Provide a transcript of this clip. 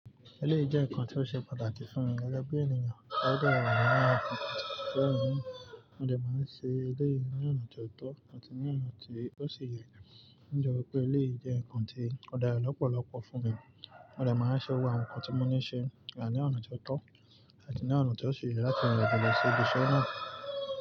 Eléyi jẹ́ nnkan tí ó ṣe pàtàkì fún mi gẹ́gẹ́ bí ènìyàn. O de wà lara àwọn ǹkan to se pàtàkì fún mi, mo de máa ń ṣe eléyi ní ọ̀nà tó tọ́ àti ní ọ̀nà tí ó ṣi yẹ̀. Ní jọ́wo pé eléyi jẹ́ ǹkan tí ó dára lọ́pọ̀lọpọ̀ fún mi, mo dè máa ń ṣe ohun àwọn ǹkan tí mo ní ṣe gba ní ọ̀nà tó tọ́ àti ní ọ̀nà tí ó ṣe yẹ̀ láti wẹ̀ gba lọ sí ibi iṣẹ́ náà.